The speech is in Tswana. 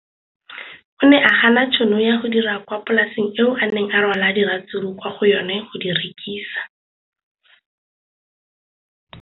O ne a gana tšhono ya go dira kwa polaseng eo a neng rwala diratsuru kwa go yona go di rekisa.